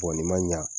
nin ma ɲa